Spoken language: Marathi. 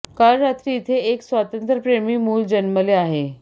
काल रात्री इथे एक स्वातंत्र्यप्रेमी मूल जन्मले आहे